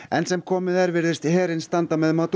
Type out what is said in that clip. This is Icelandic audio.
enn sem komið er virðist herinn standa með